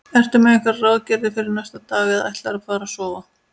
Ertu með einhverjar ráðagerðir fyrir næstu daga eða ætlarðu bara að sofa?